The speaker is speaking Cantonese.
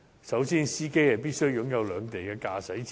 首先，司機必須擁有兩地的駕駛執照。